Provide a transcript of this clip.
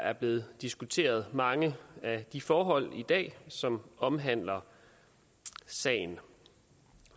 er blevet diskuteret mange af de forhold som omhandler sagen